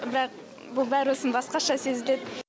бірақ бұл бәрібірсін басқаша сезіледі